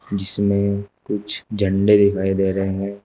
जिसमें कुछ झंडे दिखाई दे रहे हैं।